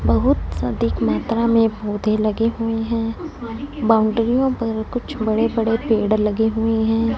बहुत अधिक मात्रा में पौधे लगे हुए हैं। बाउंड्री यों पर कुछ बड़े बड़े पेड़ लगे हुए हैं।